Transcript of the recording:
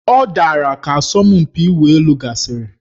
Ọ dara ka asọmpi ịwụ elu gasịrị